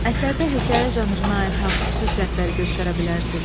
Əsərdə hekayə janrına aid hansı xüsusiyyətləri göstərə bilərsiz?